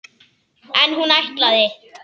En hún ætlaði!